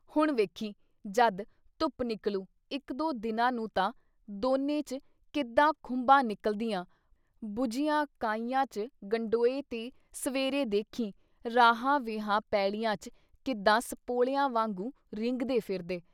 ਹੁਣ ਵੇਖੀਂ, ਜਦ ਧੁੱਪ ਨਿਕਲੂ ਇੱਕ ਦੋ ਦਿਨਾਂ ਨੂੰ ਤਾਂ ਦੋਨੇ 'ਚ ਕਿੱਦਾਂ ਖੁੰਬਾਂ ਨਿਕਲਦੀਆਂ ਬੂਝਿਆਂ ਕਾਹੀਆਂ 'ਚ ਗਡੋਏ ਤੇ ਸਵੇਰੇ ਦੇਖੀ ਰਾਹਾਂ ਵੀਹਾਂ ਪੈਲੀਆਂ 'ਚ ਕਿੱਦਾਂ ਸਪੋਲੀਆਂ ਵਾਂਗੂੰ ਰੀਂਘਦੇ ਫਿਰਦੇ।